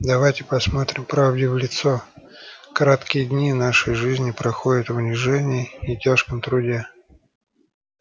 давайте посмотрим правде в лицо краткие дни нашей жизни проходят в унижении и тяжком труде